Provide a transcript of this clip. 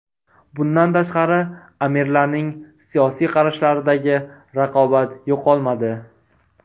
Bundan tashqari, amirlarning siyosiy qarashlaridagi raqobat yo‘qolmadi.